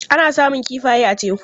Ana samun kifaye a teku.